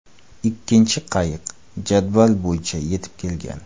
Ikkinchi qayiq jadval bo‘yicha yetib kelgan.